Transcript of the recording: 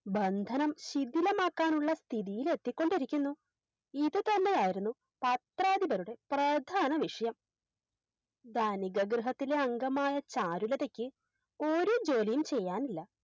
ബന്ധനം ശിഥിലമാക്കാനുള്ള സ്ഥിതിയിലെത്തിക്കൊണ്ടിരിക്കുന്നു ഇതുതന്നെയായിരുന്നു പത്രാധിപരുടെ പ്രധാന ലക്ഷ്യം ധനിക ഗൃഹത്തിലെ അംഗമായ ചാരുലതക്ക് ഒരു ജോലിയും ചെയ്യാനില്ല